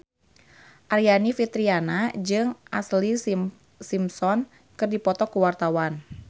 Aryani Fitriana jeung Ashlee Simpson keur dipoto ku wartawan